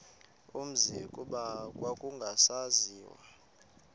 umzi kuba kwakungasaziwa